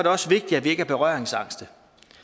også vigtigt at vi ikke er berøringsangste